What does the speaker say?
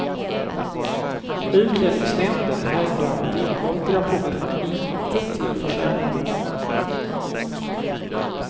Utlänningsnämnden hävdar att innehållet i rapporterna inte tillförs ärendena.